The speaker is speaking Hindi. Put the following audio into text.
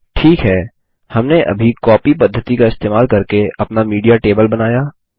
ठीक है हमने अभी कॉपी पद्धति का इस्तेमाल करके अपना मीडिया टेबल बनाया